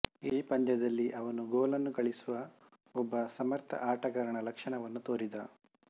ಈ ಪಂದ್ಯದಲ್ಲಿ ಅವನು ಗೋಲನ್ನು ಗಳಿಸುವ ಒಬ್ಬ ಸಮರ್ಥ ಆಟಗಾರನ ಲಕ್ಷಣವನ್ನು ತೋರಿದ